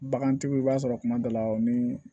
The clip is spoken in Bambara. Bagantigiw i b'a sɔrɔ kuma dɔ la ni